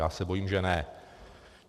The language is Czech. Já se bojím, že ne.